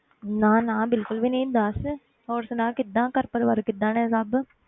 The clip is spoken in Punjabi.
ਨਾ ਨਾ ਬਿਲਕੁਲ ਵੀ ਨੀ ਦੱਸ ਹੋਰ ਸੁਣਾ ਕਿੱਦਾਂ ਘਰ ਪਰਿਵਾਰ ਕਿੱਦਾਂ ਨੇ ਸਭ।